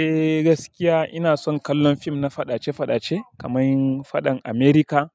Eh gaskiya ina son kallon fim na fadace-fadace kamar fadan America